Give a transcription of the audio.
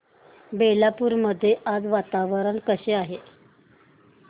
बेलापुर मध्ये आज वातावरण कसे आहे